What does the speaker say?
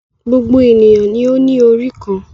Gbogbo ènìyàn ni ó ní orí kan.